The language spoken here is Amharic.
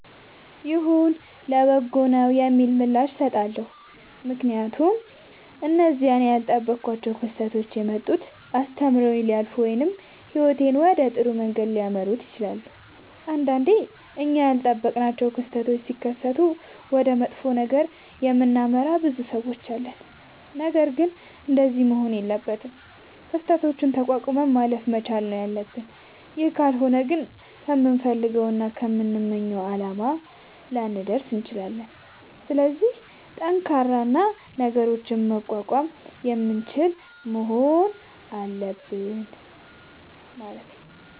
ይሁን ለበጎ ነዉ የሚል ምላሽ እሠጣለሁ። ምክንያቱም እነዚያ እኔ ያልጠበኳቸዉ ክስተቶች የመጡት አስተምረዉኝ ሊያልፉ ወይም ህይወቴን ወደ ጥሩ መንገድ ሊመሩት ይችላሉ። ንዳንዴ እኛ ያልጠበቅናቸዉ ክስተቶች ሢከሠቱ ወደ መጥፎ ነገር የምናመራ ብዙ ሠዎች አለን። ነገርግን እንደዚያ መሆን የለበትም። ክስተቶችን ተቋቁመን ማለፍ መቻል ነዉ ያለብን ይህ ካልሆነ ግን ከምንፈልገዉና ከምንመኘዉ አላማ ላንደርስ እንችላለን። ስለዚህ ጠንካራ እና ነገሮችን መቋቋም የምንችል መሆን አለብን።